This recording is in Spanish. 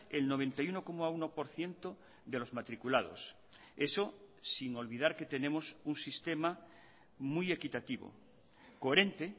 el noventa y uno coma uno por ciento de los matriculados eso sin olvidar que tenemos un sistema muy equitativo coherente